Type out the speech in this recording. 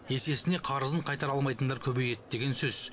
есесіне қарызын қайтара алмайтындар көбейеді деген сөз